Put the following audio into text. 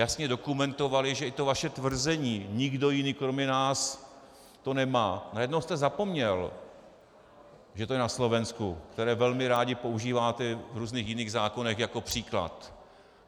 Jasně dokumentovali, že i to vaše tvrzení "nikdo jiný kromě nás to nemá" - na jedno jste zapomněl, že to je na Slovensku, které velmi rádi používáte v různých jiných zákonech jako příklad.